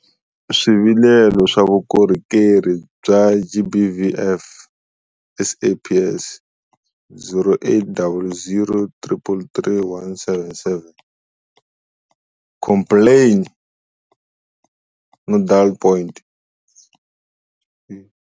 Swivilelo swa vukorhokerhi bya GBVF, SAPS- 0800 333 177, complaintsnodalpoint.